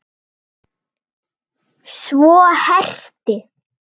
Svo herti